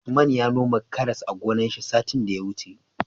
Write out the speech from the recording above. Usman ya noma karas a gonar shi satin da ya wuce